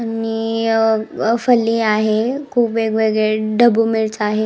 आणि अ फली आहे खुप वेगवेगळे ढबु मिरच आहे.